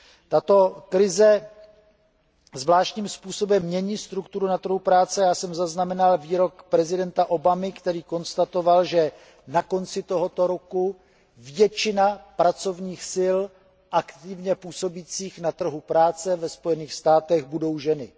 Tato krize zvláštním způsobem mění strukturu na trhu práce a já jsem zaznamenal výrok prezidenta Obamy, který konstatoval, že na konci tohoto roku budou většinu pracovních sil aktivně působících na trhu práce ve Spojených státech představovat ženy.